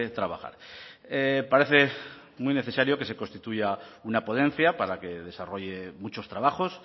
trabajar parece muy necesario que se constituya una ponencia para que desarrolle muchos trabajos